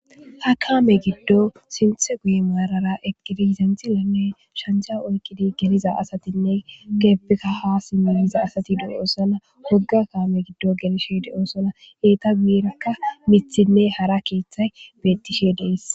Ha kaame giddo sinthe guye maarara egedi zenxilenne shanja oykkidi geliza asatinne keeppeka ha simmiliza asati du7oosana wogga kaame giddo gelishe de7oosona eeta giirakka mithinne hara keeththay bettishe dees.